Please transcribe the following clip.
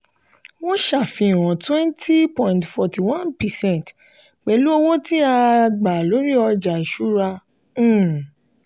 wọ́n ṣàfihàn twenty point forty one percent pẹ̀lú owó tí a a gba lórí ọjà ìṣúra. um